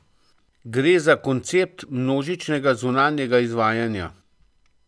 Gre za koncept množičnega zunanjega izvajanja.